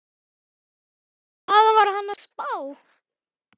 Hvað var hann að spá?